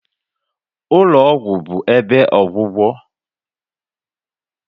Ụlọ ọgwụ bụ ebe ọgwụgwọ